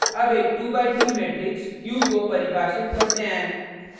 अब एक 2 by 3 matrix q को परिभाषित करते हैं: